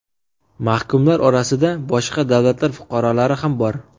Mahkumlar orasida boshqa davlatlar fuqarolari ham bor.